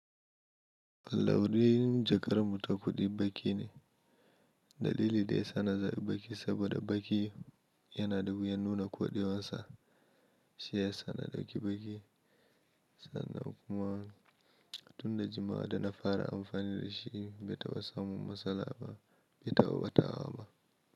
Launin jakar mu ta kuɗi baƙi ne. Dalilin da yasa zaɓi baƙi saboda baki yana da wuyan nuna koɗewarsa. Shi ya sa na ɗauki baƙi sannan kuma tun da jimawa da na fara amfani da shi bai taɓa samun matsala ba, bai taɓa batawa ba.